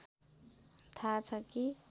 थाह छ कि